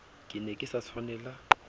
ke ne ke sa tshwanela